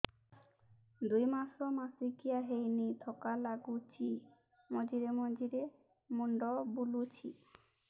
ଦୁଇ ମାସ ମାସିକିଆ ହେଇନି ଥକା ଲାଗୁଚି ମଝିରେ ମଝିରେ ମୁଣ୍ଡ ବୁଲୁଛି